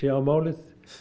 á málið